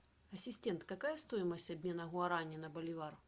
ассистент какая стоимость обмена гуарани на боливар